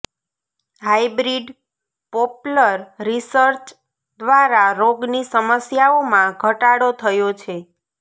hybrid poplar research દ્વારા રોગની સમસ્યાઓમાં ઘટાડો થયો છે